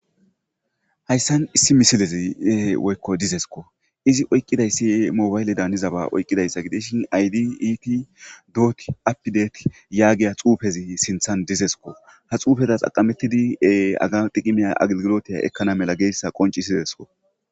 hayssan issi misilezi woykko dizesko izi oyqqidayssi mobayle daanizaba oyqqidayssa gideshin aydi iiti doot apidet yaagiya xuufezi sinthan dizesko ha xuufeza xaqamettidi aga diqimiya aggilotiya ekkana mela geessa qonci sidesko